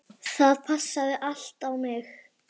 Það passaði allt á mig.